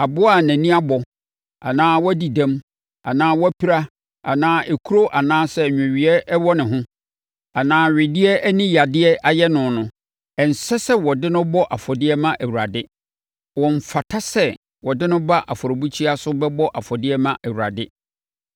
Aboa a nʼani abɔ anaa wadi dɛm anaa wapira anaa ekuro anaa nweweeɛ wɔ ne ho, anaa wedeɛ ani yadeɛ ayɛ no no, ɛnsɛ sɛ wɔde no bɔ afɔdeɛ ma Awurade. Ɔmfata sɛ wɔde no ba afɔrebukyia so bɛbɔ afɔdeɛ ma Awurade.